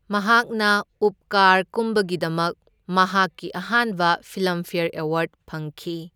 ꯃꯍꯥꯛꯅ ꯎꯞꯀꯥꯔ ꯀꯨꯝꯕꯒꯤꯗꯃꯛ ꯃꯍꯥꯛꯀꯤ ꯑꯍꯥꯟꯕ ꯐꯤꯜꯂꯝꯐ꯭ꯌꯔ ꯑꯦꯋꯥꯔꯗ ꯐꯪꯈꯤ꯫